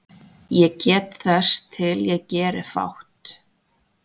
Ég get þess til ég geri fátt